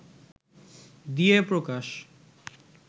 দিয়ে প্রকাশ